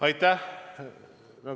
Aitäh!